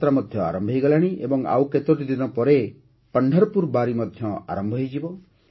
ଅମରନାଥ ଯାତ୍ରା ମଧ୍ୟ ଆରମ୍ଭ ହୋଇଗଲାଣି ଏବଂ ଆଉ କେତୋଟି ଦିନ ପରେ 'ପଣ୍ଢରପୁର ବାରୀ' ମଧ୍ୟ ଆରମ୍ଭ ହୋଇଯିବ